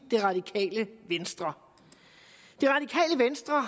det radikale venstre